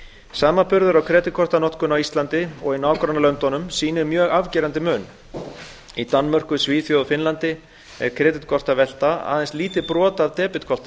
samanburður á kreditkortanotkun á íslandi og í nágrannalöndum sýnir mjög afgerandi mun í danmörku svíþjóð og finnlandi er kreditkortavelta aðeins lítið brot